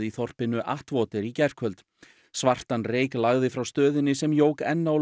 þorpinu í gærkvöldi svartan reyk lagði frá stöðinni sem jók enn á